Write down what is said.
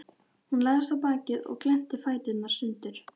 Hún lagðist á bakið og glennti fæturna sundur.